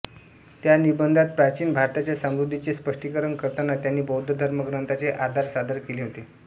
त्या निबंधात प्राचीन भारताच्या समृद्धीचे स्पष्टीकरण करताना त्यांनी बौद्ध धर्म ग्रंथांचे आधार सादर केले होते